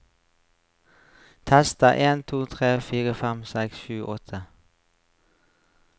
Tester en to tre fire fem seks sju åtte